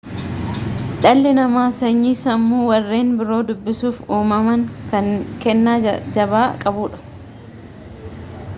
dhalli namaa sanyii sammuu warreen biroo dubbisuuf uumaman kennaa jabaa qabudha